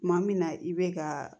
Kuma min na i bɛ ka